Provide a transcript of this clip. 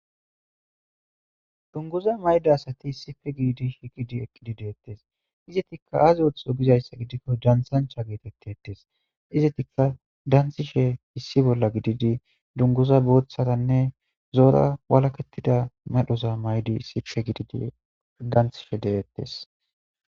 dunguza mayda asati sife giidi shiqidi eqqidi deettes izetikka azootho gizayssa gidikko dansancha geetettettes izetikka danthishe issi bolla gididi dunguza booththaranne zoora walakettida madhoza maydi sifhe gididi danthishe deettes